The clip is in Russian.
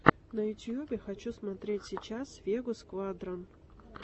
на ютубе хочу смотреть сейчас вегу сквадрон